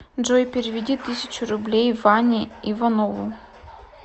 джой переведи тысячу рублей ване иванову